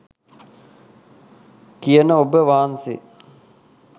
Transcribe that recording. කියන ඔබ වහන්සේ